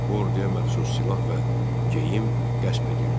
Bu orduya məxsus silah və geyim qəsb edildi.